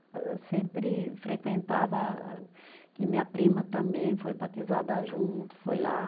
Sempre frequentava a, que minha prima também foi batizada junto, foi lá.